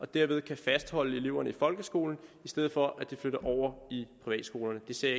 derved kan fastholde eleverne i folkeskolen i stedet for at de flytter over i privatskolerne det ser